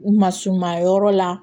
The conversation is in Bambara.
U ma suman yɔrɔ la